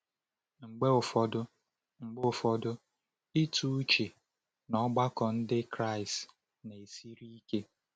Mgbe ụfọdụ, Mgbe ụfọdụ, ịtụ uche n’ọgbakọ Ndị Kraịst na-esiri ike.